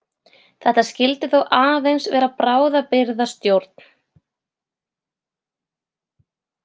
Þetta skyldi þó aðeins vera bráðabirgðastjórn.